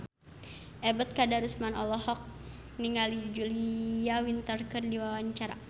Ebet Kadarusman olohok ningali Julia Winter keur diwawancara